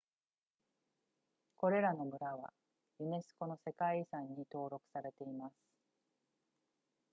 これらの村はユネスコの世界遺産に登録されています